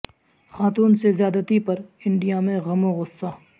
خاتون سے زیادتی پر انڈیا میں غم و غصہ